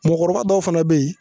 Mɔgɔkɔrɔba dɔw fana bɛ yen